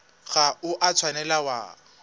ga o a tshwanela wa